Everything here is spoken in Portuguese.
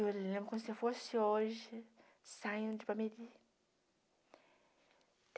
Eu lembro como se eu fosse hoje, saindo de Palmeiri.